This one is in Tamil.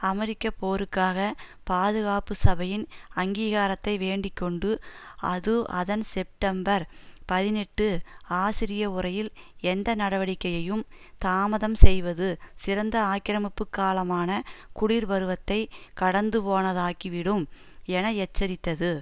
அமெரிக்க போருக்காக பாதுகாப்பு சபையின் அங்கீகாரத்தை வேண்டி கொண்டு அது அதன் செப்டம்பர் பதினெட்டு ஆசிரிய உரையில் எந்த நடவடிக்கையையும் தாமதம் செய்வது சிறந்த ஆக்கிரமிப்பு காலமான குர் பருவத்தை கடந்துபோனதாக்கிவிடும் என எச்சரித்தது